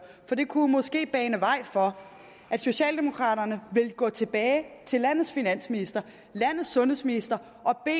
for det kunne måske bane vej for at socialdemokraterne vil gå tilbage til landets finansminister landets sundhedsminister